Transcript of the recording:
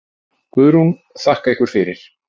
Guðrún: Þakka ykkur fyrir.